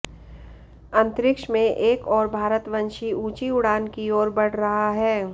अंतरिक्ष में एक और भारतवंशी ऊंची उड़ान की ओर बढ़ रहा है